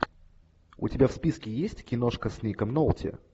у тебя в списке есть киношка с ником нолти